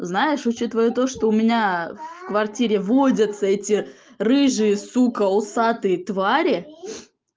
знаешь учитывая то что у меня в квартире водятся эти рыжие сука усатые твари